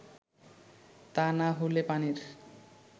তা না হলে পানির